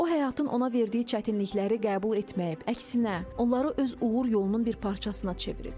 O həyatın ona verdiyi çətinlikləri qəbul etməyib, əksinə, onları öz uğur yolunun bir parçasına çevirib.